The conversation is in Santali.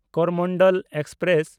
ᱠᱚᱨᱚᱢᱚᱱᱰᱚᱞ ᱮᱠᱥᱯᱨᱮᱥ